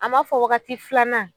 A ma fɔ waagati filanan.